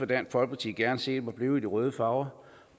dansk folkeparti gerne set var blevet i de røde farver